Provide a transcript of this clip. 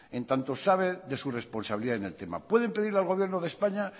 en tanto sabe de su responsabilidad en el tema pueden pedirle al gobierno de españa